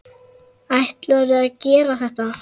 Ætlarðu að gera þetta?